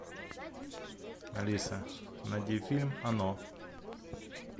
алиса найди фильм оно